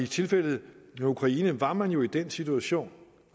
tilfældet med ukraine var man jo i den situation